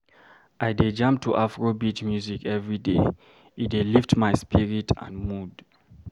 I dey jam to Afrobeat music every day, e dey lift my spirit and mood.